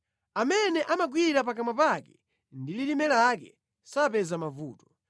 Amene amagwira pakamwa pake ndi lilime lake sapeza mavuto.